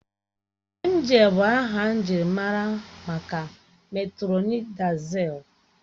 Emgịl bụ aha njirimara maka metrọnidazol